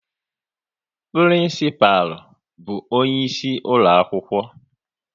Prinsipal bụ onye isi ulo akwụkwọ